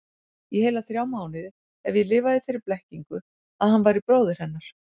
Í heila þrjá mánuði hef ég lifað í þeirri blekkingu að hann væri bróðir hennar.